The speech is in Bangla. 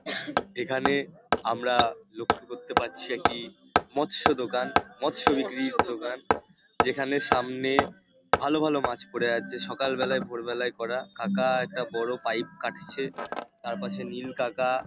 এখানে আমরা লক্ষ্য করতে পাচ্ছি একটি মৎস্য দোকান। মৎস্য বিক্রির দোকান যেখানে সামনে ভালো ভালো মাছ পড়ে আছে সকাল বেলায় ভোর বেলায় করা কাকা একটা বড় পাইপ কাটছে তারপাশে নীল কাকা --